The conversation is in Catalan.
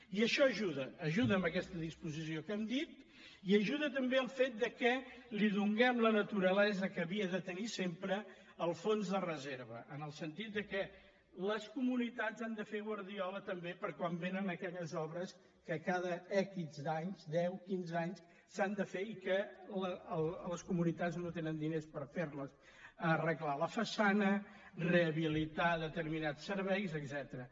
i això hi ajuda hi ajuda amb aquesta disposició que hem dit i hi ajuda també el fet que li donem la naturalesa que havia de tenir sempre el fons de reserva en el sentit que les comunitats han de fer guardiola també per a quan vénen aquelles obres que cada ics anys deu quinze anys s’han de fer i que les comunitats no tenen diners per fer les arreglar la façana rehabilitar determinats serveis etcètera